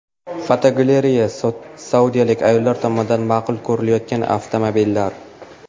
Fotogalereya: Saudiyalik ayollar tomonidan ma’qul ko‘rilayotgan avtomobillar.